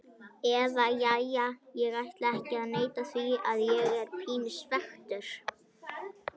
Eða jæja, ég ætla ekki að neita því að ég er pínu svekktur.